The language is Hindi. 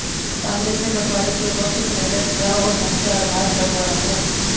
कांग्रेस ने बंटवारे के वक्त सरेंडर किया और धर्म के आधार बंटवारा हुआ